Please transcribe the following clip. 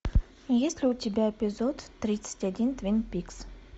есть ли у тебя эпизод тридцать один твин пикс